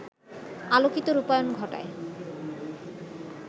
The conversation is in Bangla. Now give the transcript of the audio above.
আলোকিত রূপায়ণ ঘটায়